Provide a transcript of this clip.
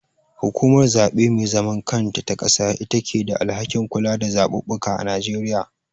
Hukumar zaɓe me zaman kanta ta ƙasa itake da alhakin kula da zaɓuɓɓuka a Nigeria.